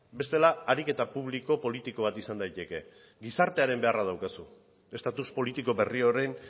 bestela ariketa publiko politiko bat izan daiteke gizartearen beharra daukazu estatus politiko berri horren